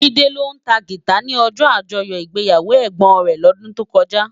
Jide ló tá gitá ni òjò ájòyò igbéyáwó ègbón rè lòdún tókòjá